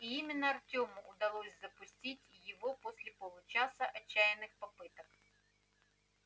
и именно артёму удалось запустить его после получаса отчаянных попыток